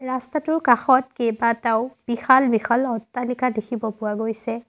ৰাস্তাটোৰ কাষত কেবাটাও বিশাল বিশাল অট্টালিকা দেখিব পোৱা গৈছে।